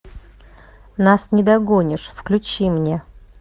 нас не догонишь включи мне